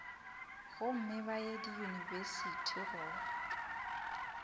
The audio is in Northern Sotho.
gomme ba ye diyunibesithi go